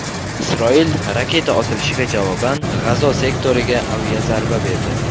Isroil raketa otilishiga javoban G‘azo sektoriga aviazarba berdi.